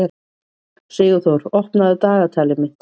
Sigurþór, opnaðu dagatalið mitt.